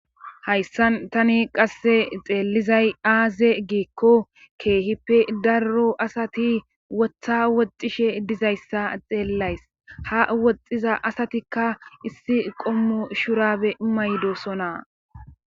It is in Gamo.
Hayssan qasse tani xeelizay aaze giikko keehippe darro asati wotha woxxishe dizayssa xeellays haa woxxiza astikka issi qommo shuraabe mayidosoana.